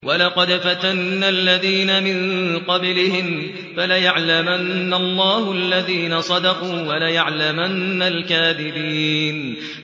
وَلَقَدْ فَتَنَّا الَّذِينَ مِن قَبْلِهِمْ ۖ فَلَيَعْلَمَنَّ اللَّهُ الَّذِينَ صَدَقُوا وَلَيَعْلَمَنَّ الْكَاذِبِينَ